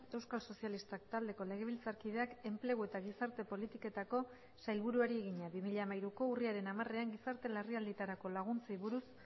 euskal sozialistak taldeko legebiltzarkideak enplegu eta gizarte politiketako sailburuari egina bi mila hamairuko urriaren hamarean gizarte larrialdietarako laguntzei buruz